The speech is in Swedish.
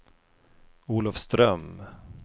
Olofström